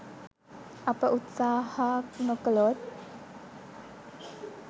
අප උත්සහා නොකලොත්